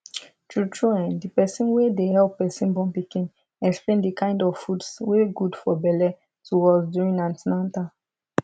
tru tru um the person wey dey help person born pikin explain the kind of foods wey good for belle to us during an ten atal